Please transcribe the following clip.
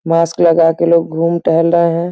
Mask लगाके लोग घूम टहल रहे हैं।